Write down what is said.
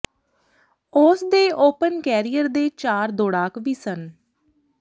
ਉਸ ਦੇ open career ਦੇ ਚਾਰ ਦੌੜਾਕ ਵੀ ਸਨ